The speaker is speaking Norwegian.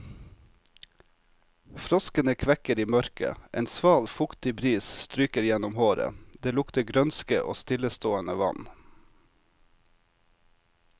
Froskene kvekker i mørket, en sval, fuktig bris stryker gjennom håret, det lukter grønske og stillestående vann.